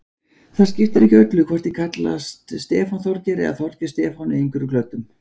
Það skiptir ekki öllu hvort ég kallast Stefán Þorgeir eða Þorgeir Stefán í einhverjum klöddum.